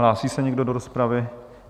Hlásí se někdo do rozpravy?